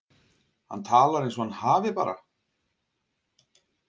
Hann talar eins og hann hafi bara.